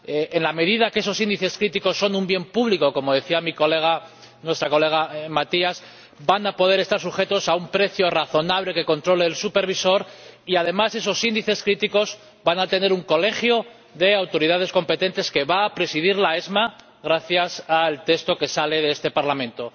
en la medida en que esos índices críticos son un bien público —como decía nuestra compañera Matias— van a poder estar sujetos a un precio razonable que controle el supervisor y, además, esos índices críticos van a disponer de un colegio de autoridades competentes presidido por la ESMA gracias al texto que aprobará este Parlamento.